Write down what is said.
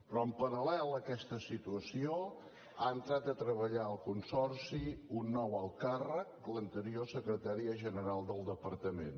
però en paral·lel a aquesta situació ha entrat a treballar al consorci un nou alt càrrec l’anterior secretària general del departament